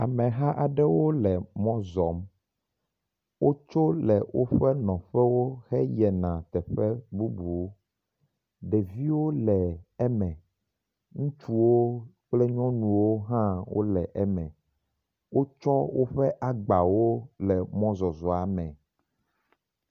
Ameha aɖewo le mɔ zɔm. Wotso le woƒe nɔƒewo heyina teƒe bubu. Ɖeviwo le eme. Ŋutsuwo kple nyɔnuwo hã wole eme. Wotsɔ woƒe agbawo le mɔ zɔzɔa me.